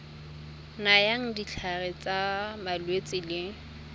nayang ditlhare tsa malwetse le